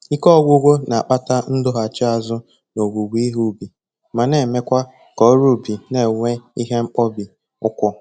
Ike ọgwụgwụ na-akpata ndọghachi azụ n'owuwe ihe ubi ma na-emekwa ka ọrụ ubi na-enwe ihe mkpọbi ụkwụ